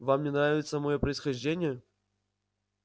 вам не нравится моё происхождение